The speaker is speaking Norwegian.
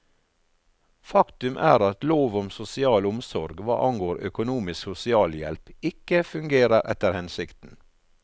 Faktum er at lov om sosial omsorg, hva angår økonomisk sosialhjelp, ikke fungerer etter hensikten.